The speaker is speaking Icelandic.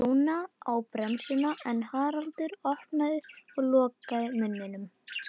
Rúna á bremsuna en Haraldur opnaði og lokaði munninum.